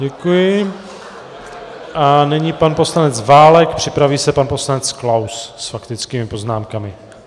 Děkuji a nyní pan poslanec Válek, připraví se pan poslanec Klaus - s faktickými poznámkami.